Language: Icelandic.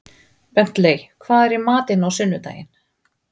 Bentley, hvað er í matinn á sunnudaginn?